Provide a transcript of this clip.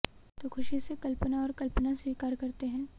तो ख़ुशी से कल्पना और कल्पना स्वीकार करते हैं